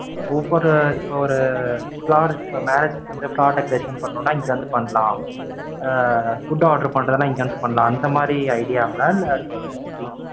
ஒவ்வொரு இப்ப ஒரு flower marriage க்கு வந்து flower decoration பண்ணனும்னா இங்க வந்து பண்ணலாம். ஆஹ் food order பண்றதுன்னா இங்க வந்து பண்ணலாம். அந்தமாதிரி idea ங்களா இல்ல, எப்படி